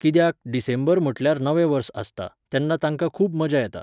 कित्याक, डिसेंबर म्हटल्यार नवें वर्स आसता, तेन्ना तांकां खूब मजा येता.